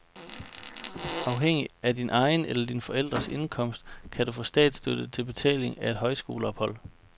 Afhængig af din egen eller dine forældres indkomst kan du få statsstøtte til betaling af et højskoleophold.